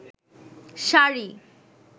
sari